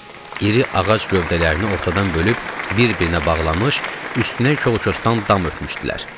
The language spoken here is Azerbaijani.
İri ağac gövdələrini ortadan bölüb bir-birinə bağlanmış, üstünə çol-kosdan dam örtmüşdülər.